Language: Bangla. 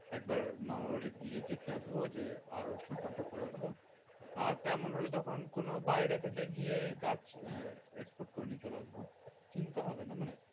একবার মামার বাড়ি গিয়ে দেখে আসবো যে আর ওর সঙ্গে contact করে আসবো। আর তেমন হলে তখন কোনো বাইরে থেকে গিয়ে গাছ আহ export করে নিয়ে চলে আসবো। চিন্তা হবে না মানে